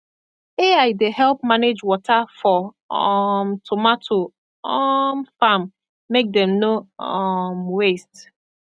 ai dey help manage water for um tomato um farm make dem no um waste